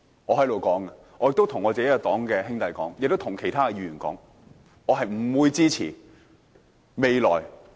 我在這裏對我所屬政黨的兄弟和其他議員說，我是不會支持的。